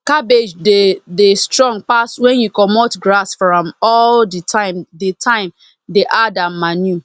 cabbage dey dey strong pass when you comot grass from am all the time dey time dey add am manure